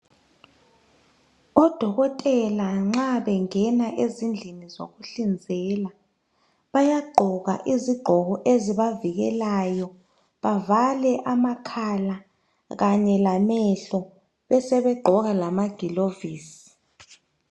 Odokotela nxa bengena ezindlini zokuhlinzela, bayagqoka iziqoko ezibavikelayo, bavale amakhala kanye lamehlo besebegqoka lamagilovisi.